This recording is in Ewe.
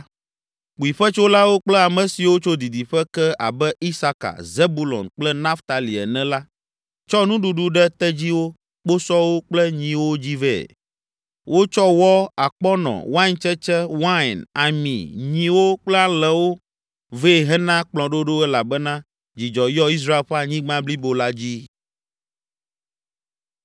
Kpuiƒetsolawo kple ame siwo tso didiƒe ke abe Isaka, Zebulon kple Naftali ene la tsɔ nuɖuɖu ɖe tedziwo, kposɔwo kple nyiwo dzi vɛ. Wotsɔ wɔ, akpɔnɔ, waintsetse, wain, ami, nyiwo kple alẽwo vɛ hena kplɔ̃ɖoɖo elabena dzidzɔ yɔ Israel ƒe anyigba blibo la dzi.